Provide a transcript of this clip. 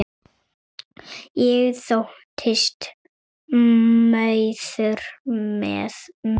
Ég þóttist maður með mönnum.